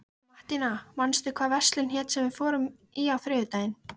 Mattíana, manstu hvað verslunin hét sem við fórum í á þriðjudaginn?